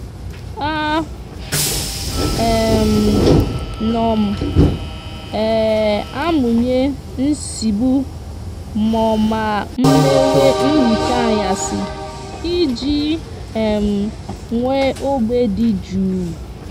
a um no m um amuye nsigbu mo ma mmewe nhicha anyasi iji um nwee ogbe di juu